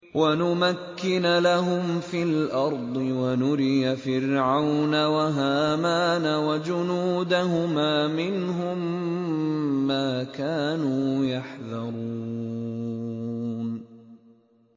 وَنُمَكِّنَ لَهُمْ فِي الْأَرْضِ وَنُرِيَ فِرْعَوْنَ وَهَامَانَ وَجُنُودَهُمَا مِنْهُم مَّا كَانُوا يَحْذَرُونَ